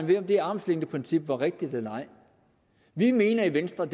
ved om det armslængdeprincip var rigtigt eller ej vi mener i venstre